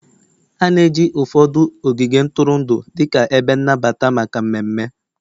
A na-eji ụfọdụ ogige ntụrụndụ dịka ebe nnabata maka mmemme